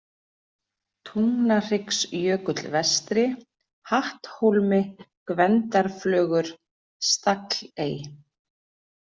Tungnahryggsjökull vestri, Hatthólmi, Gvendarflögur, Stagley